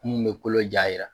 Mun be kolo ja yira.